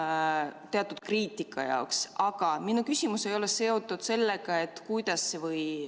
Liigume edasi 10. päevakorrapunkti juurde, milleks on Vabariigi Valitsuse algatatud põhikooli- ja gümnaasiumiseaduse muutmise seaduse eelnõu 349 esimene lugemine.